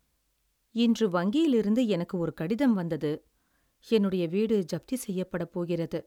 இன்று வங்கியிலிருந்து எனக்கு ஒரு கடிதம் வந்தது, என்னுடைய வீடு ஜப்தி செய்யப்படப்போகிறது.